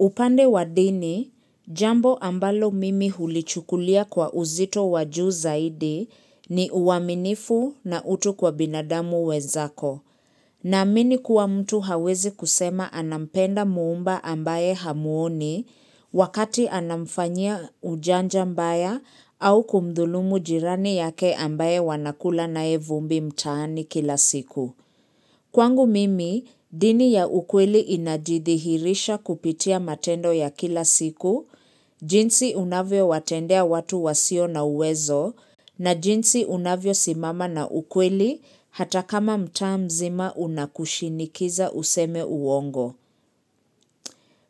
Upande wa dini, jambo ambalo mimi hulichukulia kwa uzito wa juu zaidi ni uaminifu na utu kwa binadamu wenzako. Ninaamini kuwa mtu hawezi kusema anampenda muumba ambaye hamuoni wakati anamfanyia ujanja mbaya au kumdhulumu jirani yake ambaye wanakula naye vumbi mtaani kila siku. Kwangu mimi, dini ya ukweli inajidhihirisha kupitia matendo ya kila siku, jinsi unavyo watendea watu wasio na uwezo, na jinsi unavyo simama na ukweli hata kama mtaa mzima unakushinikiza useme uongo.